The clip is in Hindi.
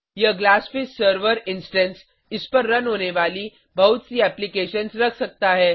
यह ग्लासफिश सर्वर इंस्टैंस इस पर रन होने वाली बहुत सी एप्लीकेशन्स रख सकता है